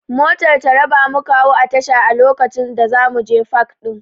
Motar Taraba muka hau a tasha a lokacin da zamuje pak ɗin